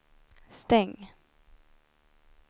stäng